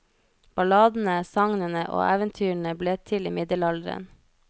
Balladene, sagnene og eventyrene ble til i middelalderen.